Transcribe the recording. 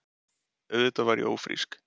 Auðvitað var ég ófrísk.